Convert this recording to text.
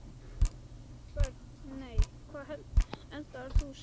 Börn: Nei Hvað eldaðir þú síðast?